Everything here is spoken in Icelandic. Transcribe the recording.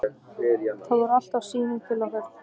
Það var alltaf síminn til okkar.